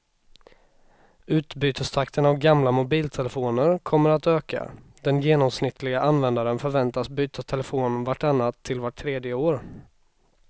Utbytestakten av gamla mobiltelefoner kommer att öka, den genomsnittliga användaren förväntas byta telefon vart annat till vart tredje år.